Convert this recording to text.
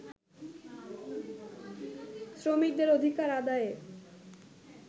শ্রমিকদের অধিকার আদায়ে